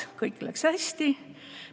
Kõik läks hästi.